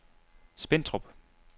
Spentrup